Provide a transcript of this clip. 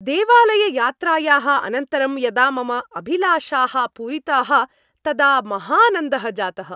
देवालययात्रायाः अनन्तरं यदा मम अभिलाषाः पूरिताः तदा महानन्दः जातः।